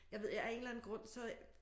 Jeg ved jeg af en eller anden grund så